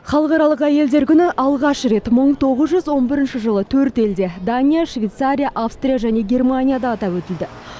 халықаралық әйелдер күні алғаш рет мың тоғыз жүз он бірінші жылы төрт елде дания швейцария австрия және германияда атап өтілді